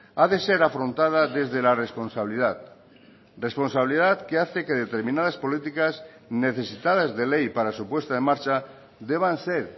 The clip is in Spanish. ha de ser afrontada desde la responsabilidad responsabilidad que hace que determinadas políticas necesitadas de ley para su puesta en marcha deban ser